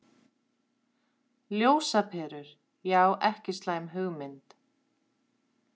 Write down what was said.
Ljósaperur, já ekki slæm hugmynd.